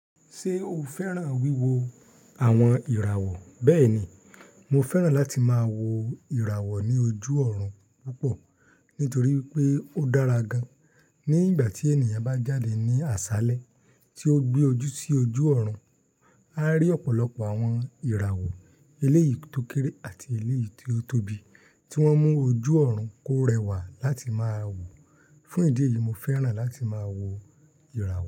Ṣé o fẹ́ràn wíwo àwọn ìràwọ̀? Bẹ́ẹ̀ni, mo fẹ́ràn láti máa wo ìràwọ̀ ní ojú ọ̀run púpọ̀ nítorí pé ó dára gan. Ní ìgbà tí ènìyàn bá jáde ní àṣálẹ́ tí ó gbé ojú sí ojú ọ̀run, a rí ọ̀pọ̀lọpọ̀ àwọn ìràwọ̀ eléyìí tó kéré àti eléyìí tí ó tóbi tí wọ́n mú ojú ọ̀run kó rẹwà láti máa wò. Fún ìdí èyí, mo fẹ́ràn láti máa wo ìràwọ̀